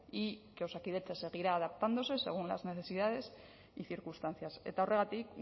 y que osakidetza seguirá adaptándose según las necesidades y circunstancias eta horregatik